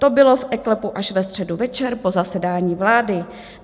To bylo v eKlepu až ve středu večer po zasedání vlády.